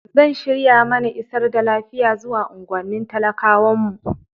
Zan shirya mana isar da lafiya zuwa unguwannin talakawan mu.